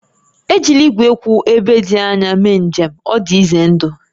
Ejila igwe kwụ ebe dị anya mee njem, ọ dị ize ndụ